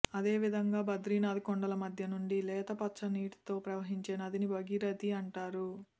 అదే విధంగా బద్రీనాథ్ కొండల మధ్య నుంచి లేత పచ్చ నీటితో ప్రవహించే నదిని భగీరథి అంటారు